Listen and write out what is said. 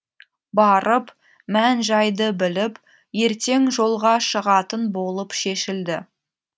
барып мән жайды біліп ертең жолға шығатын болып шешілді